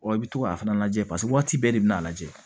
i bɛ to k'a fana lajɛ paseke waati bɛɛ de bɛ n'a lajɛ